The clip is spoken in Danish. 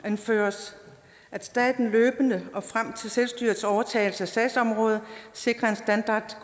anføres at staten løbende og frem til selvstyrets overtagelse af et sagsområde sikrer en standard